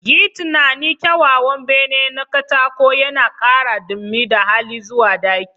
Yi tunanin kyawawan bene na katako yana ƙara dumi da hali zuwa ɗaki